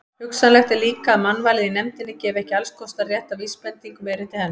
Hugsanlegt er líka, að mannvalið í nefndinni gefi ekki allskostar rétta vísbendingu um erindi hennar.